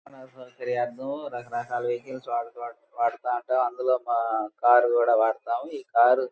రకరకాల సౌకర్యార్థం రకరకాల వెహికల్స్ వాడుక-వాడుతా ఉంటాం. అందులో మా కార్ కూడా వాడతాం. ఈ కారు --